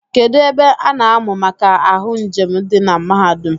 Kedu ebe a na-amụ maka ahụ njem di na mahadum?